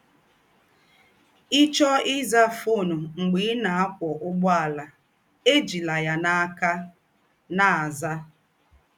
Ị̀ chọọ ị́zà fọn mḡbé ị̀ nà - àkwó ụ̀gbọ̀àlà, éjílá yà n’ákà na - àzà.